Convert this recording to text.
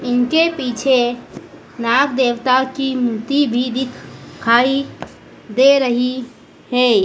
इनके पीछे नाग देवता की मूर्ति भी दिखाई दे रही है।